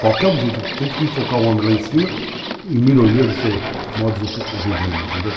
Qualquer objetivo que tente, tem que enfocar o homem lá em cima, em melhoria do seu modo de viver, entendeu?